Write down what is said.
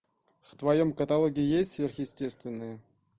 в твоем каталоге есть сверхъестественное